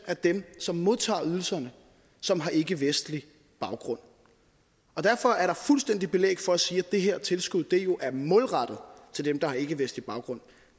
af dem som modtager ydelserne som har ikkevestlig baggrund og derfor er der fuldstændig belæg for at sige at det her tilskud jo er målrettet til dem der har ikkevestlig baggrund